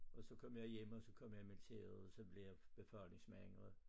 Og så kom jeg hjem og så kom jeg i militæret og så blev jeg befalingsmand og